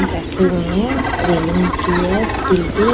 बैठे हुए हैं रेलिंग की है स्टील की--